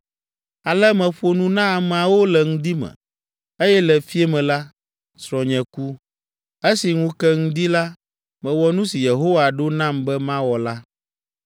Ale meƒo nu na ameawo le ŋdi me, eye le fiẽ me la, srɔ̃nye ku. Esi ŋu ke ŋdi la, mewɔ nu si Yehowa ɖo nam be mawɔ la.